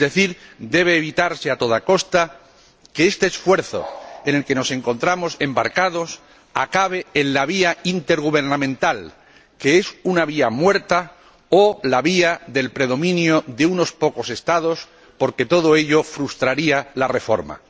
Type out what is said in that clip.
Es decir, debe evitarse a toda costa que este esfuerzo en el que nos encontramos embarcados acabe en la vía intergubernamental, que es una vía muerta o la vía del predominio de unos pocos Estados, porque todo ello frustraría la reforma.